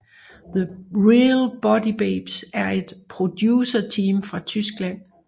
The Real Booty Babes er et producerteam fra Tyskland